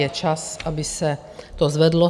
Je čas, aby se to zvedlo.